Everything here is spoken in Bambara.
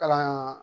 Kalan